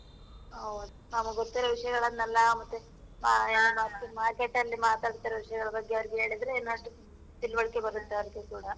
ಹೌದು. ನಮಿಗ್ ಗೊತ್ತಿರೋ ವಿಷ್ಯಗಳನ್ನೆಲ್ಲಾ ಮತ್ತೆ ಆ ಯ ಮತ್ತೆ market ಅಲ್ಲಿ ಮಾತಾಡ್ತಿರೋ ವಿಷ್ಯಗಳ ಬಗ್ಗೆ ಅವ್ರಿಗೆ ಹೇಳಿದ್ರೆ ಇನ್ನಷ್ಟು ತಿಳ್ವಳಿಕೆ ಬರತ್ತೆ ಅವ್ರಿಗೆ ಕೂಡ.